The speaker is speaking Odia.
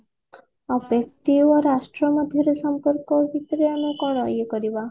ଆଉ ବ୍ୟକ୍ତି ଓ ରାଷ୍ଟ୍ର ମଧ୍ୟରେ ସମ୍ପର୍କ ଭିତରେ ଆମେ କଣ ଇଏ କରିବା